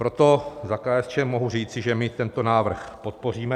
Proto za KSČM mohu říci, že my tento návrh podpoříme.